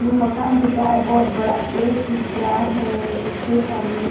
में मकान दिख रहा है बहोत बड़ा गेट दिख रहा है इसके सामने--